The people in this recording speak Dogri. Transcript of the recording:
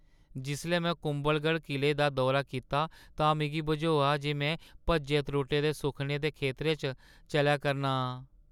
जिसलै में कुंभलगढ़ किले दा दौरा कीता तां मिगी बझोआ जे में भज्जे-त्रुट्टे दे सुखनें दे खेतरे च चलै करना आं।